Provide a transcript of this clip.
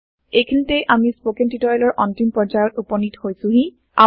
এইখিনিতে আমি স্পৌকেন টিওটৰিয়েলৰ অন্তিম পৰ্যায়ত উপনীত হৈছোহি